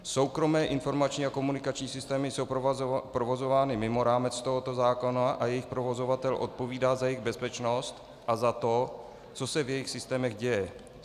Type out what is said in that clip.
Soukromé informační a komunikační systémy jsou provozovány mimo rámec tohoto zákona a jejich provozovatel odpovídá za jejich bezpečnost a za to, co se v jejich systémech děje.